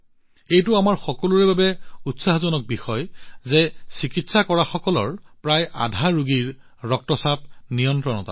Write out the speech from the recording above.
এইটো আমাৰ সকলোৰে বাবে উৎসাহজনক বিষয় যে চিকিৎসা কৰা সকলৰ প্ৰায় অৰ্ধেক সংখ্যকৰেই ৰক্তচাপ নিয়ন্ত্ৰণত আছে